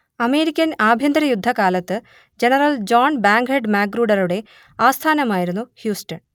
American ആഭ്യന്തരയുദ്ധകാലത്ത് general John Bankhead മാഗ്രൂഡറുടെ ആസ്ഥാനമായിരുന്നു ഹ്യൂസ്റ്റൺ